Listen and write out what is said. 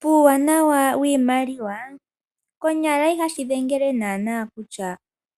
Puuwanawa wiimaliwa konyala ihashi dhengele naanaa kutya